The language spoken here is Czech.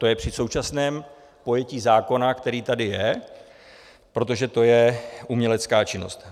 To je při současném pojetí zákona, který tady je, protože to je umělecká činnost.